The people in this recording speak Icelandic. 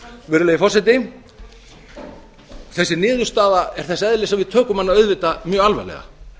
virðulegi forseti þessi niðurstaða er þess eðlis að við tökum hana auðvitað mjög alvarlega